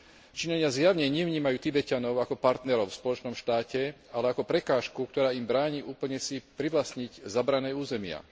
Číňania zjavne nevnímajú Tibeťanov ako partnerov v spoločnom štáte, ale ako prekážku, ktorá im bráni úplne si privlastniť zabrané územia.